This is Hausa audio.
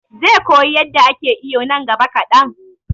he will learn to swim in the near future